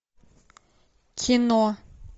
кино